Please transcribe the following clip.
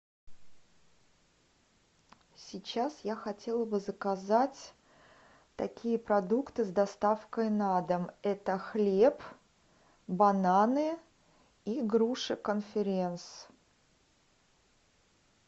сейчас я хотела бы заказать такие продукты с доставкой на дом это хлеб бананы и груши конференц